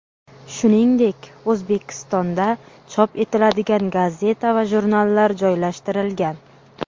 Shuningdek, O‘zbekistonda chop etiladigan gazeta va jurnallar joylashtirilgan.